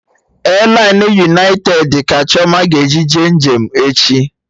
Elainụ yunaitedi ka Chioma ga-eji jee njem echi